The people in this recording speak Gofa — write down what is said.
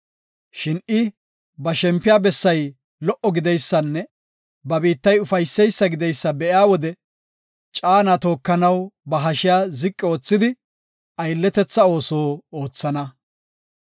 Shin I ba shempiya bessay lo77o gideysanne ba biittay ufayseysa gideysa be7iya wode, caana tookanaw ba hashiya ziqi oothidi, aylletetha ooso oothana.